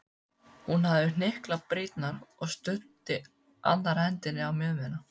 Hún hafði hnyklað brýnnar og studdi annarri hendinni á mjöðmina.